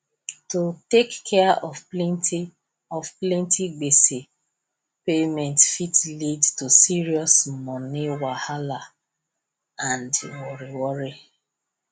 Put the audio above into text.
to take care of plenty of plenty gbese payment fit lead to serious money wahalla and worry worry